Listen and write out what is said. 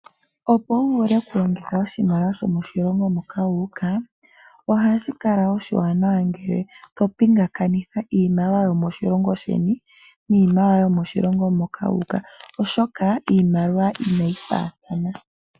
Opo wuvule oku longitha oshimaliwa sho moshilongo moka wuuka, ohashi kala oshiwanawa ngele to pingakanitha iimaliwa yo moshilongo sheni , niimaliwa yo moshilongo moka wuuka , oshoka iimaliwa inayi faathana.